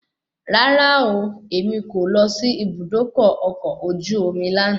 Rárá ooo, èmi kò lọ sí Ibùdókọ̀ ọkọ̀ ojú omi lànà.